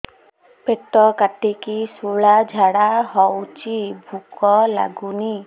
ପେଟ କାଟିକି ଶୂଳା ଝାଡ଼ା ହଉଚି ଭୁକ ଲାଗୁନି